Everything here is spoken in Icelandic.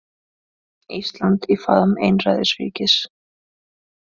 Ísland í faðm einræðisríkis